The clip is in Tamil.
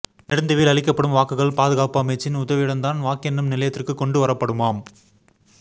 நெடுந்தீவில் அளிக்கப்படும் வாக்குகள் பாதுகாப்பமைச்சின் உதவியுடன் தான் வாக்கெண்ணும் நிலையத்திற்கு கொண்டு வரப்படுமாம்